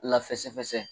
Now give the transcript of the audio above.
Lafɛsɛ fɛsɛ